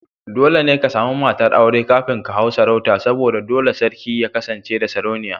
Dole ne ka sami matar aure kafin ka hau sarauta saboda dole ne sarki ya kasance da Sarauniya.